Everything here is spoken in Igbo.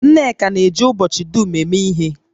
Nneka na-eji ubochi dum eme ihe